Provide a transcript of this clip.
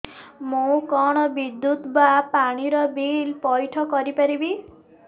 ମୁ କଣ ବିଦ୍ୟୁତ ବା ପାଣି ର ବିଲ ପଇଠ କରି ପାରିବି